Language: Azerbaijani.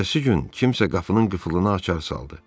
Ertəsi gün kimsə qapının qıfılını açar saldı.